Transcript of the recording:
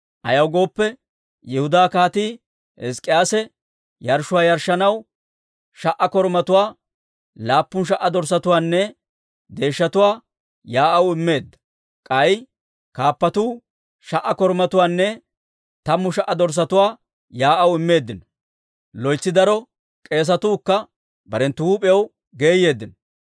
Ayaw gooppe, Yihudaa Kaatii Hizk'k'iyaase yarshshuwaa yarshshanaw, sha"a korumatuwaa, laappun sha"a dorssatuwaanne deeshshatuwaa yaa'aw immeedda; k'ay kaappatuu sha"a korumatuwaanne tammu sha"a dorssatuwaa yaa'aw immeeddino. Loytsi daro k'eesatuu kka barenttu huup'iyaw geeyeeddino.